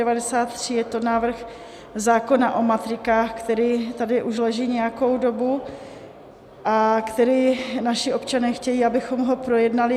Je to návrh zákona o matrikách, který tady už leží nějakou dobu a který naši občané chtějí, abychom ho projednali.